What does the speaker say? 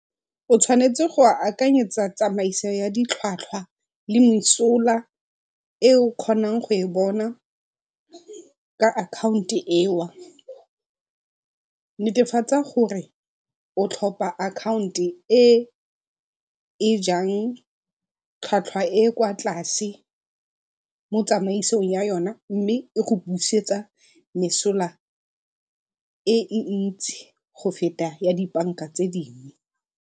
O tshwanetse go a akanyetsa tsamaiso ya ditlhwatlhwa le mesola e o kgonang go e bona ka akhaonto . Netefatsa gore o tlhopha akhaonto e e jang tlhwatlhwa e e kwa tlase mo tsamaisong ya yona mme e kgona go busetsa mesola e e ntsi go feta ya dibanka tse dingwe.